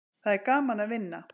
Það er gaman að vinna.